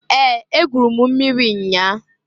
Ee! Egwuru m mmiri nnyaa.